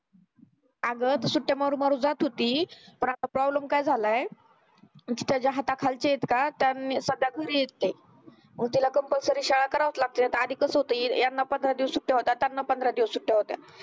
आगं ती सुट्ट्या मारून मारून जात होती पण आता problem काय झालाय त्याच्या हाताखालची येत का त्यानं सध्या घरी हेत ते मंग तिला compulsory शाळा करावच लागती नाहीतर आधी कस होत ह्यांना पंधरा दिवस सुट्ट्या होत्या त्यांना पंधरा दिवस सुट्ट्या होत्या